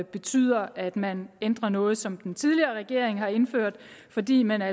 betyder at man ændrer noget som den tidligere regering har indført fordi man er